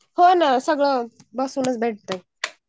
होणं सगळं बसूनच भेटतंय.